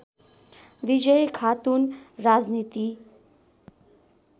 विजयी खातुन राजनीति